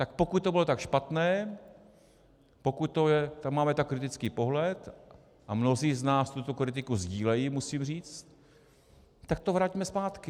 Tak pokud to bylo tak špatné, pokud tam máme tak kritický pohled, a mnozí z nás tuto kritiku sdílejí, musím říct, tak to vraťme zpátky.